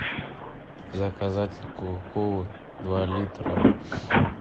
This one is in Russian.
заказать кока колу два литра